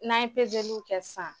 N'an ye pezeliw kɛ san